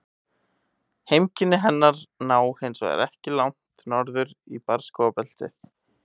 Heimkynni hennar ná hins vegar ekki langt norður í barrskógabeltið.